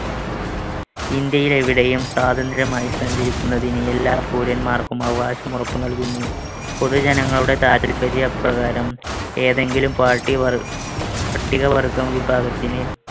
ഇന്ത്യയിൽ എവിടെയും സ്വാതന്ത്ര്യമായി സഞ്ചരിക്കുന്നതിന് എല്ലാ പൗരൻമാർക്കും അവകാശം ഉറപ്പു നൽകുന്നു. പൊതുജനങ്ങളുടെ താൽപര്യപ്രകാരം ഏതെങ്കിലും party പ~ പട്ടികവർഗ്ഗ വിഭാഗത്തിന്